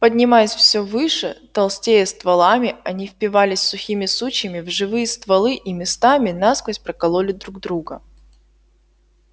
поднимаясь всё выше толстея стволами они впивались сухими сучьями в живые стволы и местами насквозь прокололи друг друга